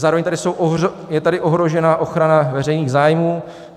Zároveň je tady ohrožena ochrana veřejných zájmů.